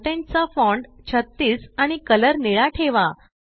content चा font 36 आणि colour निळा ठेवा